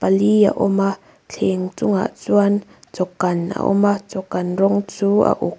li a awm a thleng chungah chuan chaw kan a awma chaw kan rawng chu a uk--